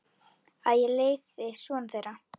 Að ég leiði son þeirra.